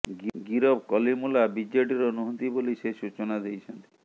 ଗିରଫ କଲିମୁଲ୍ଲା ବିଜେଡ଼ିର ନୁହନ୍ତି ବୋଲି ସେ ସୂଚନା ଦେଇଛନ୍ତି